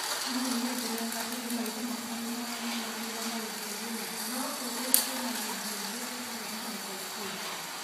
No ũnyendere wega tondũ maitho makwa nĩ maranyamarĩka nĩ ũtheri ũyũ no ũ ũcenjie na rangi ũngĩ ũtarĩ na ũtheri mũingĩ